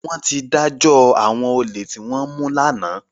Wọ́n ti dájọ́ àwọn olè tí wọ́n mú lánàá